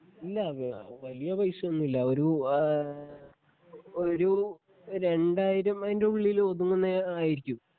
ഇല്ല വ വലിയ പൈസയൊന്നും ഇല്ല ഒരു ഏഹ് ഒരു രണ്ടായിരം അതിൻ്റെ ഉള്ളില് ഒതുങ്ങുന്നേ ആയിരിക്കും